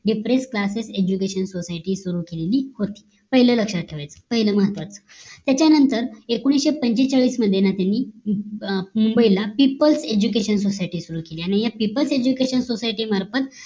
depress classes education society सुरु केलेली होती पहिलं लक्ष्यात ठेवायचं पहिलं महत्वाचं त्याच्या नंतर एकोणीशे पंचेचाळीस मध्ये त्यांनी मुंबई ला people education society सुरु केली आणिया PEOPLES EDUCATION SOCIETY मार्फत